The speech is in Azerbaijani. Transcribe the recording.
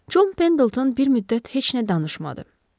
Çon Pendilton bir müddət heç nə danışmadı.